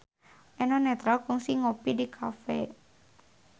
Eno Netral kungsi ngopi di cafe